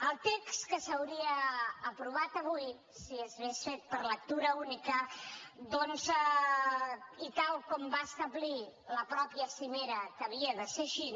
el text que s’hauria aprovat avui si s’hagués fet per lectura única i tal com va establir la mateixa cimera que havia de ser així